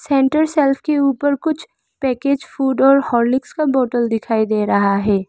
Centre shelf के ऊपर कुछ पैकेज फूड और हॉर्लिक्स का बोतल दिखाई दे रहा है।